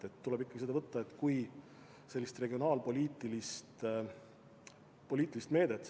Seda tuleb ikkagi võtta kui regionaalpoliitilist meedet.